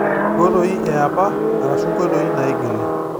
Inkoitoi eapa arashu nkoitoi naigili.